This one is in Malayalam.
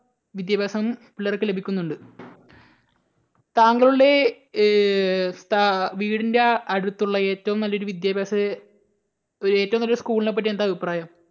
വിദ്യാഭ്യാസം പിള്ളേർക്ക് ലഭിക്കുന്നുണ്ട്. താങ്കളുടെ ഏർ സ്ഥാവീടിൻറെ അടുത്തുള്ള ഏറ്റവും നല്ലൊരു വിദ്യാഭ്യാസഏറ്റവും നല്ല ഒരു school നെ പറ്റി എന്താ അഭിപ്രായം?